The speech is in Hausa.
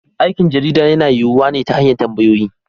Aikin jarida yana yiyuwa ne ta hanyar tambayoyi.